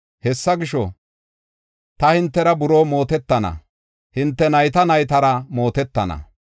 “Hessa gisho, ta hintera buroo mootetana; hinte nayta naytara mootetana.